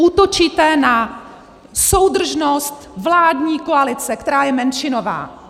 Útočíte na soudržnost vládní koalice, která je menšinová.